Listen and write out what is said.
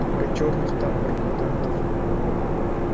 про черных там про мутантов